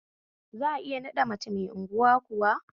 Za'a iya naɗa mace mai unguwa kuwa?